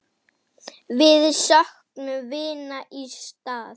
Við söknum vinar í stað.